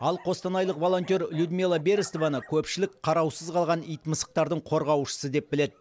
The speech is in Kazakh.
ал қостанайлық волонтер людмила берестованы көпшілік қараусыз қалған ит мысықтардың қорғаушысы деп біледі